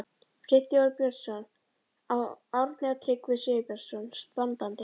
Friðþjófur Björnsson, Árni og Tryggvi Sigurbjarnarson standandi.